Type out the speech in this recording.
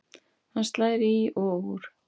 Hann slær í og úr.